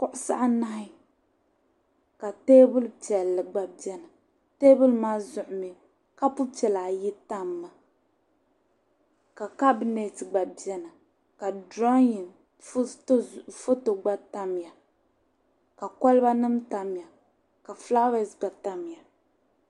Kuɣisi anahi ka teebuli piɛlli gba beni. Teebuli maa zuɣu mi kopu piɛla ayi tammi ka kabinɛti gba beni ka duraunyin foto gba tamya ka kolibanima tamya ka fulaawaasi gba tamya.